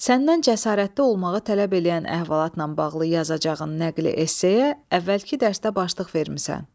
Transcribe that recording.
Səndən cəsarətli olmağı tələb eləyən əhvalatla bağlı yazacağın nəqli esseya əvvəlki dərsdə başlıq vermisən.